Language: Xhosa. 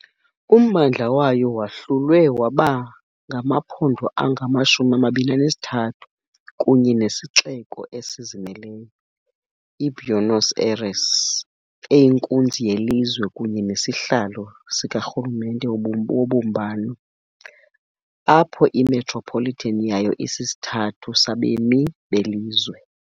Ummandla wayo wahlulwe waba ngamaphondo angama-23 kunye nesixeko esizimeleyo, iBuenos Aires, eyinkunzi yelizwe kunye nesihlalo sikarhulumente wobumbano, apho i- metropolitan yayo isisithathu sabemi belizwe.